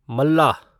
मल्लाह